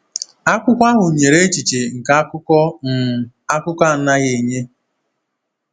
Akwụkwọ ahụ nyere echiche nke akụkọ um akụkọ anaghị enye.